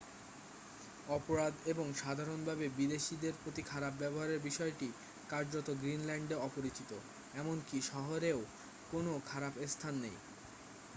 "অপরাধ এবং সাধারণভাবে বিদেশীদের প্রতি খারাপ ব্যবহারের বিষয়টি কার্যত গ্রিনল্যান্ডে অপরিচিত। এমনকি শহরেও কোনও "খারাপ স্থান" নেই।